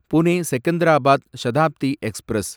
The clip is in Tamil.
புனே செகந்தராபாத் சதாப்தி எக்ஸ்பிரஸ்